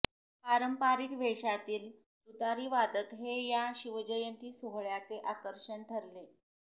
पारंपारिक वेषातील तुतारीवादक हे या शिवजयंती सोहळयाचे आकर्षण ठरले